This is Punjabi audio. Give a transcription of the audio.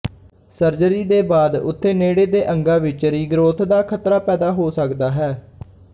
ਸਰਜਰੀ ਦੇ ਬਾਅਦ ਉੱਥੇ ਨੇੜੇ ਦੇ ਅੰਗਾਂ ਵਿੱਚ ਰੀਗਰੋਥ ਦਾ ਖਤਰਾ ਪੈਦਾ ਹੋ ਸਕਦਾ ਹੈ